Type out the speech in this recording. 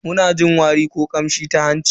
Muna jin wari ko kamshi ta hanci.